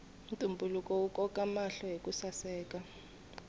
ntumbuluko wu koka mahlo hiku saseka